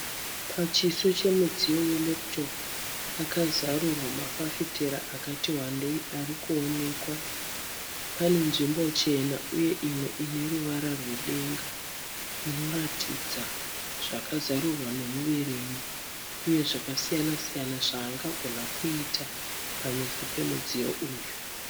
Pachiso chemudziyo wereputopu pakazarurwa mafafitera akati wandei ari kuonekwa. Pane nzvimbo chena uye imwe ine ruvara rwedenga inoratidza zvakazarurwa nemuverengi uye zvakasiyana siyana zvaangagona kuita pameso pemudziyo uyu.